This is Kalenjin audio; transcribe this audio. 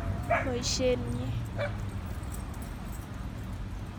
Boisienyi